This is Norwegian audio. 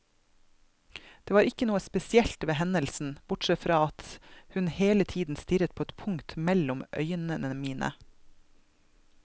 Det var ikke noe spesielt ved hendelsen, bortsett fra det at hun hele tiden stirret på et punkt mellom øynene mine.